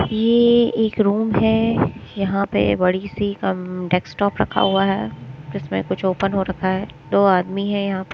ये एक रूम है यहां पे बड़ी सी कम डेस्कटॉप रखा हुआ है जिसमें कुछ ओपन हो रखा है दो आदमी है यहां--